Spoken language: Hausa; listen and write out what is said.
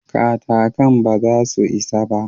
Katakan ba za su isa ba.